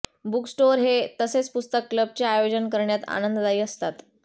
bookstore हे तसेच पुस्तक क्लबचे आयोजन करण्यात आनंददायी असतात